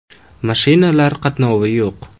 Mashinalar qatnovi yo‘q.